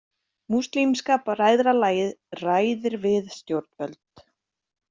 Múslímska bræðralagið ræðir við stjórnvöld